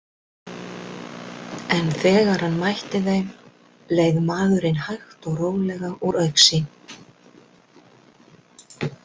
En þegar hann mætti þeim leið maðurinn hægt og rólega úr augsýn.